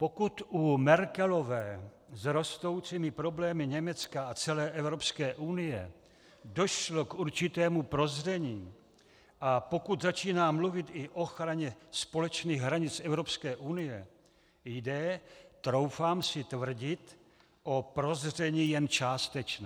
Pokud u Merkelové s rostoucími problémy Německa a celé Evropské unie došlo k určitému prozření a pokud začíná mluvit i o ochraně společných hranic Evropské unie, jde, troufám si tvrdit, o prozření jen částečné.